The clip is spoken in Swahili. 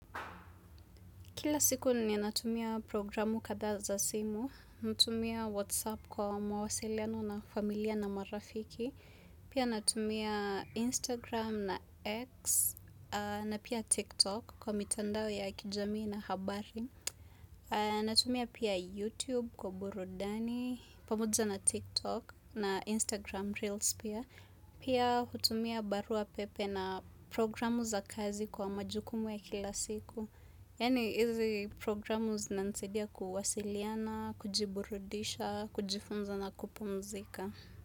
Kila siku ninatumia programu katha za simu, natumia whatsapp kwa mawasiliano na familia na marafiki, pia natumia instagram na x, na pia tiktok kwa mitandao ya kijami na habari, natumia pia youtube kwa burudani, pamoja na tiktok na instagram reels pia, pia hutumia barua pepe na programu za kazi kwa majukumu ya kila siku, Yani izi programu zinanisaidia kuwasiliana, kujiburudisha, kujifunza na kupumzika.